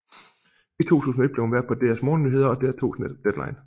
I 2001 blev hun vært på DRs morgennyheder og DR2s Deadline